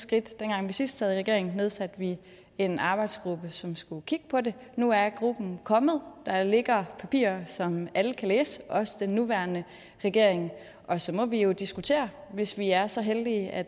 skridt dengang vi sidst sad i regering nedsatte vi en arbejdsgruppe som skulle kigge på det nu er gruppen kommet der ligger papirer som alle kan læse også den nuværende regering og så må vi jo diskutere hvis vi er så heldige at